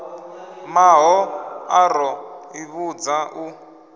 mahoḽa ro ḓi vhudza u